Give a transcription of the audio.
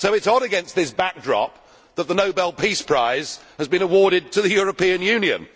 So it is odd that, against this backdrop, the Nobel Peace Prize has been awarded to the European Union.